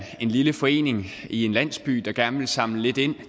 lille forening i en landsby der gerne vil samle lidt ind